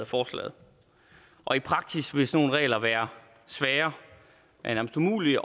forslaget og i praksis vil sådan nogle regler være svære nærmest umulige